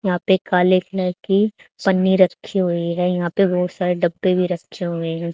यहां पे काली कलर की पन्नी रखी हुई है यहां पे बहोत सारे डब्बे भी रखे हुए हैं।